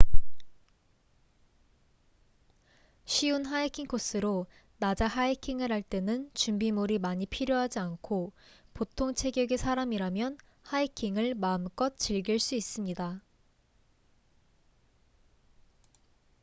쉬운 하이킹 코스로 낮에 하이킹을 할 때는 준비물이 많이 필요하지 않고 보통 체격의 사람이라면 하이킹을 마음껏 즐길 수 있습니다